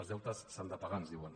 els deutes s’han de pagar ens diuen